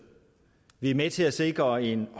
vi med til at sikre en